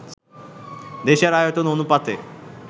দেশের আয়তন অনুপাতে